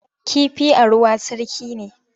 Kifi a ruwa sarki ne.